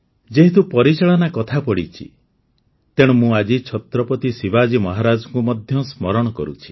ଯେହେତୁ ପରିଚାଳନା କଥା ପଡ଼ିଛି ତେଣୁ ମୁଁ ଆଜି ଛତ୍ରପତି ଶିବାଜୀ ମହାରାଜଙ୍କୁ ମଧ୍ୟ ସ୍ମରଣ କରୁଛି